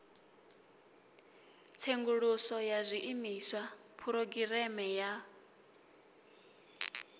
tsenguluso ya zwiimiswa phurogireme ya